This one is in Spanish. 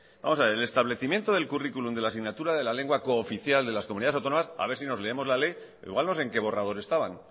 vamos a ver el establecimiento del curriculum de la asignatura de la lengua cooficial de las comunidades autónomas a ver si nos leemos la ley o igual no sé en qué borrador estaban